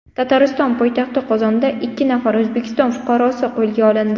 Tatariston poytaxti Qozonda ikki nafar O‘zbekiston fuqarosi qo‘lga olindi.